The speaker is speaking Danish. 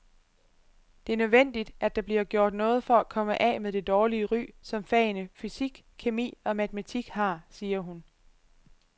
Det er nødvendigt, at der bliver gjort noget for at komme af med det dårlige ry, som fagene fysik, kemi og matematik har, siger hun.